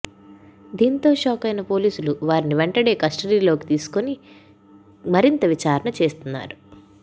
దీంతో షాక్ అయిన పోలీసులు వారిని వెంటనే కస్టడీలోకి తీసుకొని మరింత విచారణ చేస్తున్నారు